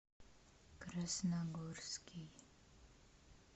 красногорский